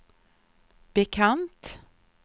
bekant